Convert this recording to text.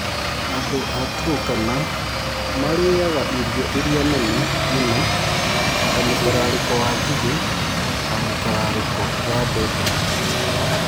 Andũ a Turkana marĩĩaga irio iria nene mũno ta mũtararĩko wa ngigĩ na mũtararĩko wa mbembe.